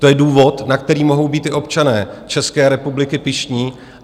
To je důvod, na který mohou být i občané České republiky pyšní.